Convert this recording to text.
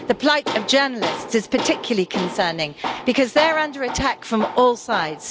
The plight of journalists is particularly concerning because they are under attack from all sides.